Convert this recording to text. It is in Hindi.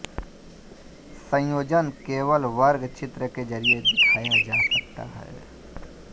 संयोजन केवल वर्ग चित्र के जरिये दिखाया जा सकता है